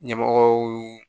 Ɲɛmɔgɔw